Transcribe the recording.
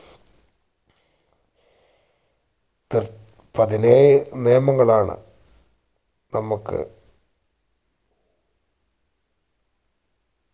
തേർ പതിനേഴ് നിയമങ്ങളാണ് നമുക്ക്